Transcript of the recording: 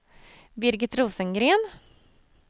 Birgit Rosengren